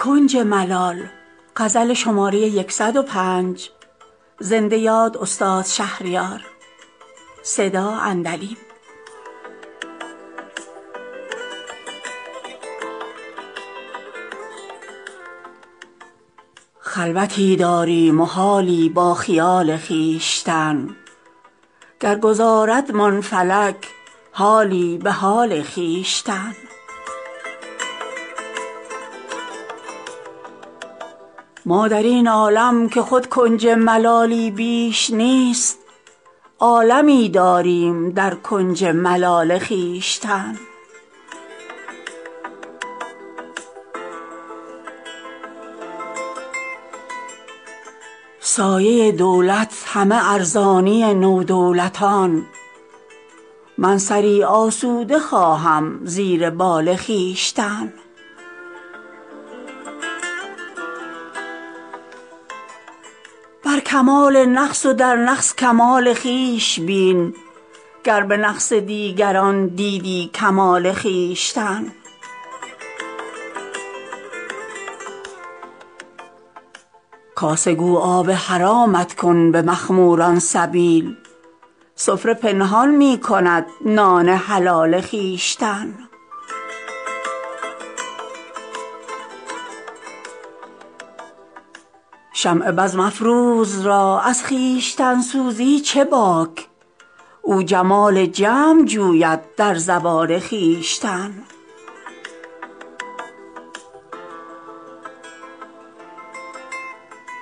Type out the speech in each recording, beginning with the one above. خلوتی داریم و حالی با خیال خویشتن گر گذاردمان فلک حالی به حال خویشتن ما در این عالم که خود کنج ملالی بیش نیست عالمی داریم در کنج ملال خویشتن سایه دولت همه ارزانی نودولتان من سری آسوده خواهم زیر بال خویشتن شکر ایزد شاهد بخت جمیل عاشقان کرده روشن عالم از نور جمال خویشتن بر کمال نقص و در نقص کمال خویش بین گر به نقص دیگران دیدی کمال خویشتن دست گیر آن را که نبود با کسش روی سوال تا نگیری دست بر روی سوال خویشتن دوست گو نام گناه ما مبر کز فعل خویش بس بود ما را عذاب انفعال خویشتن کاسه گو آب حرامت کن به مخموران سبیل سفره پنهان می کند نان حلال خویشتن شمع بزم افروز را از خویشتن سوزی چه باک او جمال جمع جوید در زوال خویشتن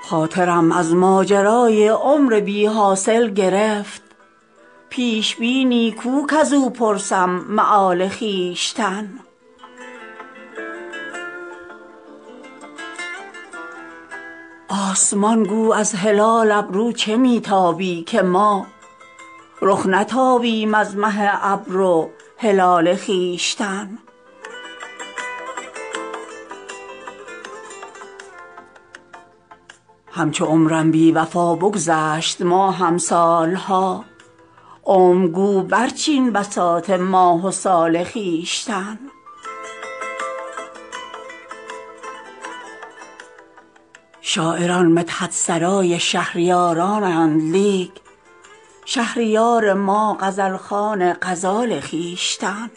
خاطرم از ماجرای عمر بی حاصل گرفت پیش بینی کو کز او پرسم مآل خویشتن آسمان گو از هلال ابرو چه می تابی که ما رخ نتابیم از مه ابرو هلال خویشتن اعتدال قامت رعناقدان از حد گذشت تا نگه داری تو حد اعتدال خویشتن همچو عمرم بی وفا بگذشت ماهم سالها عمر گو برچین بساط ماه و سال خویشتن شاعران مدحت سرای شهریارانند لیک شهریار ما غزل خوان غزال خویشتن